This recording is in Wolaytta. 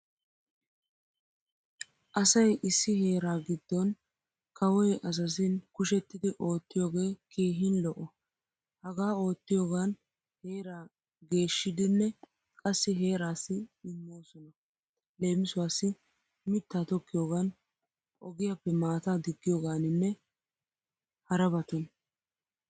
Asay issi heeraa giddon kawoy azazin kushettidi oottiyoogee keehin lo'o. Hagaa oottiyoogan heraa geshshiidinne qassi heeraassi immosona leemisuwaassi mittaa tokkiyogan, ogiyaappe maataa diggiyooganinne harabatun.